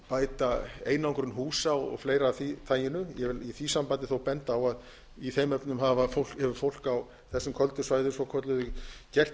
bæta einangrun húsa og fleira af því taginu ég vil í því sambandi þó benda á að í þeim efnum hefur fólk á þessum köldu svæðum svokölluðu gert